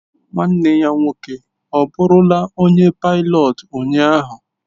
nwanne ya nwoke ọbụrụla onye pilọt ụnyaahụ?